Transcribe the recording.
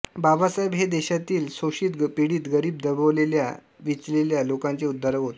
बाबासाहेब हे देशातील शोषित पीडित गरीब दबलेल्या पिचलेल्या लोकांचे उद्धारक होते